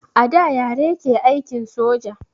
A da yare ke aikin soja